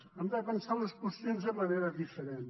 hem de pensar les qüestions de manera diferent